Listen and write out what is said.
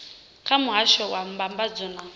kha muhasho wa mbambadzo na